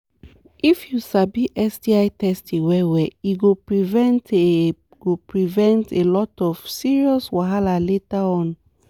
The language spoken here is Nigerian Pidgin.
if u sabi sti testing well well e go prevent a go prevent a lot of serious wahala later on